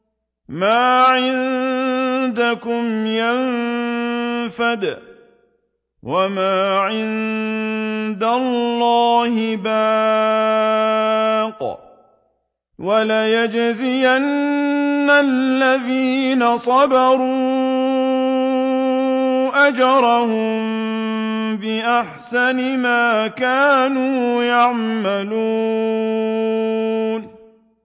مَا عِندَكُمْ يَنفَدُ ۖ وَمَا عِندَ اللَّهِ بَاقٍ ۗ وَلَنَجْزِيَنَّ الَّذِينَ صَبَرُوا أَجْرَهُم بِأَحْسَنِ مَا كَانُوا يَعْمَلُونَ